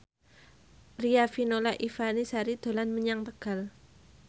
Riafinola Ifani Sari dolan menyang Tegal